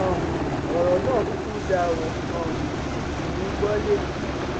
um ọrọ náà kúkú dáa ó um sì dùnún gbọ létí